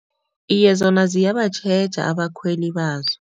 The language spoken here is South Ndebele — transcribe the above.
Iye, zona ziyabatjheja abakhweli bazo.